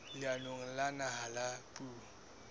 leanong la naha la puo